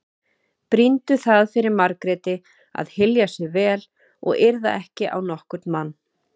Brýndu það fyrir Margréti að hylja sig vel og yrða ekki á nokkurn mann.